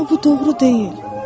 Amma bu doğru deyil.